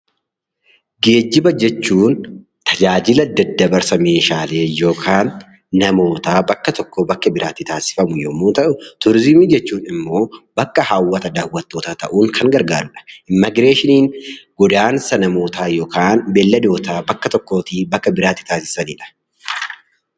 Geejjiba jechuun tajaajila daddabarsa meeshaalee yookaan namootaa bakka tokkoo bakka biraa tti taasifamu yommuu ta'u; Turiizimii jechuun immoo bakka hawwata daawwattootaa ta'uun kan gargaaru dha. Immagireeshiniin godaansa namootaa yookaan beelladootaa bakka tokkoo tii bakka biraa tti taasisani dha.